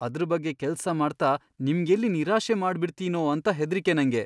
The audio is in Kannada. ಅದ್ರ್ ಬಗ್ಗೆ ಕೆಲ್ಸ ಮಾಡ್ತಾ ನಿಮ್ಗೆಲ್ಲಿ ನಿರಾಶೆ ಮಾಡ್ಬಿಡ್ತೀನೋ ಅಂತ ಹೆದ್ರಿಕೆ ನಂಗೆ.